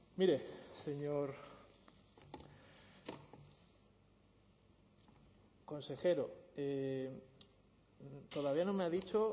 mire señor consejero todavía no me ha dicho